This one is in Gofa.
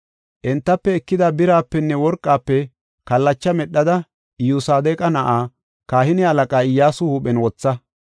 Entafe ekida birapenne worqafe kallacha medhada Iyosadeqa na7aa, kahine halaqaa Iyyasu huuphen wotha.